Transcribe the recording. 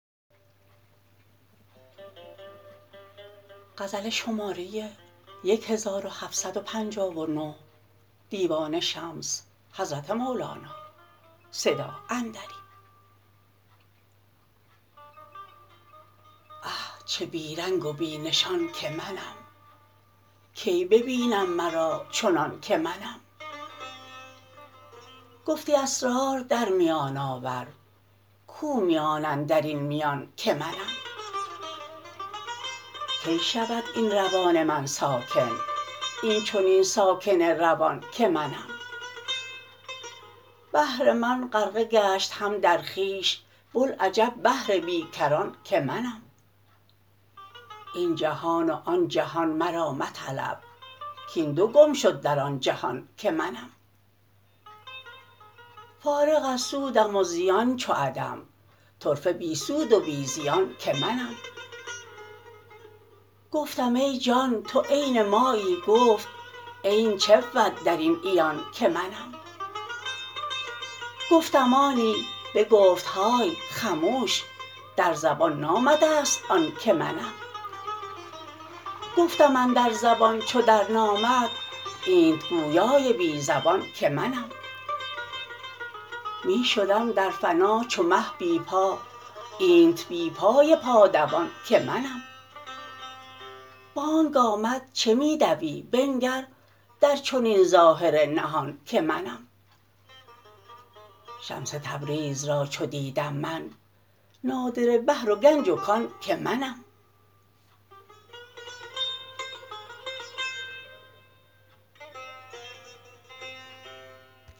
اه چه بی رنگ و بی نشان که منم کی ببینم مرا چنان که منم گفتی اسرار در میان آور کو میان اندر این میان که منم کی شود این روان من ساکن این چنین ساکن روان که منم بحر من غرقه گشت هم در خویش بوالعجب بحر بی کران که منم این جهان و آن جهان مرا مطلب کاین دو گم شد در آن جهان که منم فارغ از سودم و زیان چو عدم طرفه بی سود و بی زیان که منم گفتم ای جان تو عین مایی گفت عین چه بود در این عیان که منم گفتم آنی بگفت های خموش در زبان نامده ست آن که منم گفتم اندر زبان چو درنامد اینت گویای بی زبان که منم می شدم در فنا چو مه بی پا اینت بی پای پادوان که منم بانگ آمد چه می دوی بنگر در چنین ظاهر نهان که منم شمس تبریز را چو دیدم من نادره بحر و گنج و کان که منم